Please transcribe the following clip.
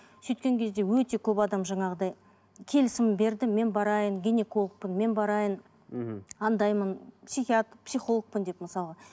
сөйткен кезде өте көп адам жаңағыдай келісімін берді мен барайын гинекологпын мен барайын мхм андаймын психологпын деп мысалға